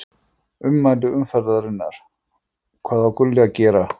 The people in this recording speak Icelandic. Ummæli umferðarinnar: Hvað á Gulli að gera?